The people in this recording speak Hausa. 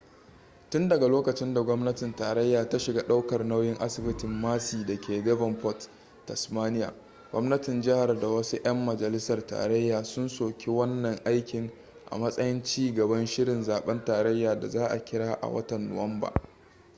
tun daga lokacin da gwamnatin tarayya ta shiga daukar nauyin asibitin mersey da ke devonport tasmania gwamnatin jihar da wasu 'yan majalisar tarayya sun soki wannan aikin a matsayin ci gaban shirin zaben tarayya da za a kira a watan nuwamba